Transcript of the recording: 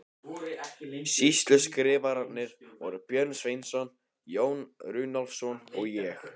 Sýsluskrifararnir voru Björn Sveinsson, Jón Runólfsson og ég.